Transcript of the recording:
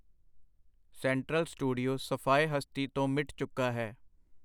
Central studio ਸਫਾਏ ਹਸਤੀ ਤੋਂ ਮਿੱਟ ਚੁੱਕਾ ਹੈ.